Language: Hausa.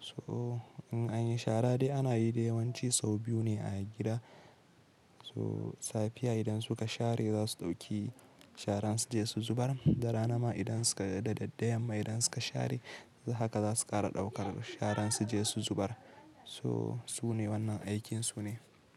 So in anyi shara dai ana yi yawanci sau biyu ne a gida. So safiya idan suka share za su ɗauki sharan suje su zubar. Da rana ma idan suka da daddaya ma idan suka share haka za su ƙara ɗaukar sharan suje su zubar. So su ne wannan aikin su ne.